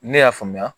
Ne y'a faamuya